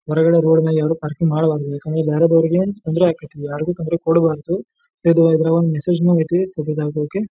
ಹೊರಗಡೆ ರೋಡ್ ಮ್ಯಾಲೆ ಯಾರು ಪಾರ್ಕಿಂಗ್ ಮಾಡಬಾರ್ದು ಯಾಕಂದ್ರೆ ಬ್ಯಾರೆದವರಿಗೆ ತೊಂದ್ರೆ ಆಕತಿ ಯಾರ್ಗು ತೊಂದ್ರೆ ಕೊಡಬಾರದು ಇದು ಇದ್ರಾಗೊಂದ್ ಮೆಸ್ಸೇಜ್ ನು ಐತಿ .]